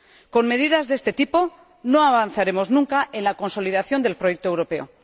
Con medidas de este tipo, no avanzaremos nunca en la consolidación del proyecto europeo.